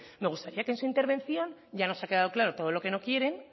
me gustaría que en su intervención ya nos ha quedado claro todo lo que no quieren